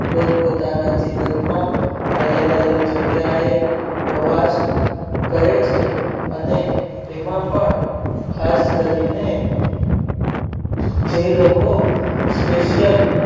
પોત પોતાના જીવન માં અલગ અલગ જગ્યા એ પ્રવાસ કહે છે અને તેમાં પણ ખાસ કરી ને જે લોકો spesal